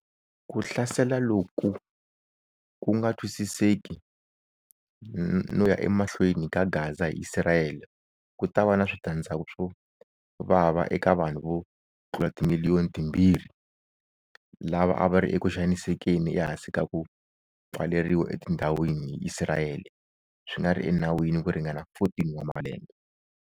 Ku hlasela loku ku nga twisiseki no ya emahlweni ka Gaza hi Isirayele ku ta va na switandzhaku swo vava eka vanhu vo tlula timiliyoni timbirhi lava a va ri ekuxanisekeni ehansi ka ku pfaleriwa etindhawini hi Isirayele swi nga ri enawini ku ringana 14 wa malembe.